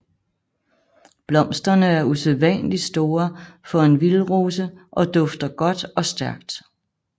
Blomsterne er usædvanligt store for en vildrose og dufter godt og stærkt